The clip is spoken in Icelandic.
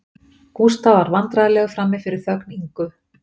Gústaf varð vandræðalegur frammi fyrir þögn Ingu